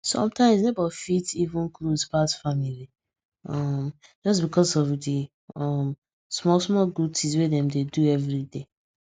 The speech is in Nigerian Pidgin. sometimes neighbors fit even close pass family um just because of the um smallsmall good things wey dem dey do every day